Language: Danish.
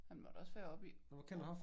Han må da også være oppe i årene